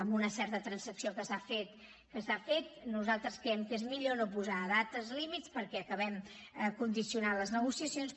en una certa transacció que s’ha fet nosaltres creiem que és millor no posar dates límit perquè acabem condicionant les negociacions